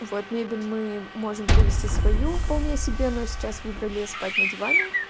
вот мебель мы можем привезти свою вполне себе но сейчас выбрали спать на диване